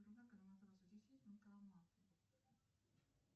сбер валюта филлипинских островов